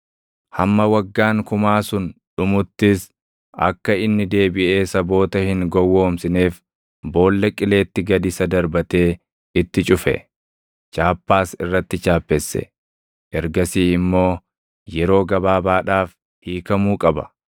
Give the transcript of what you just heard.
Hamma waggaan kumaa sun dhumuttis akka inni deebiʼee saboota hin gowwoomsineef Boolla Qileetti gad isa darbatee itti cufe. Chaappaas irratti chaappesse; ergasii immoo yeroo gabaabaadhaaf hiikamuu qaba.